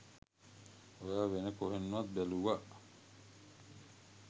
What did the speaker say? ඔයා වෙන කොහෙන්වත් බැලුව